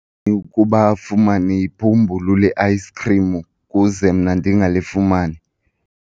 kuba afumane ibhumbulu le-ayisikhrim ukuze mna ndingalifumani?